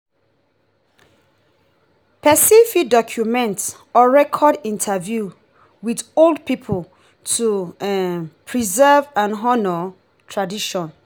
person fit document or record interview with old pipo to um preserve and honor tradition